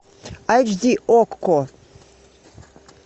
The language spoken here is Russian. айч ди окко